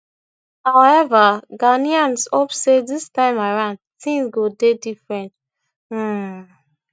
however ghanaians hope say dis time around tins go dey different um